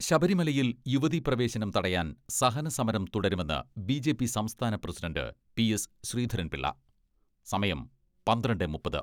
ശബരിമലയിൽ യുവതീപ്രവേശനം തടയാൻ സഹനസമരം തുടരുമെന്ന് ബി ജെ പി സംസ്ഥാന പ്രസിഡണ്ട് പി എസ് ശ്രീധരൻപിളള, സമയം പന്ത്രണ്ടെ മുപ്പത്